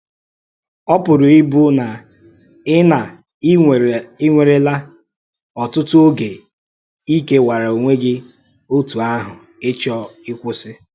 Ó pùrù íbù na ì na ì nweèrèla ọ̀tụ̀tụ̀ ògé í kèwàrà ònwè gị otú àhụ̀—ịchọ́ íkwụ́sị.